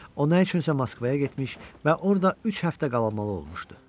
O nə üçünsə Moskvaya getmiş və orada üç həftə qalamalı olmuşdu.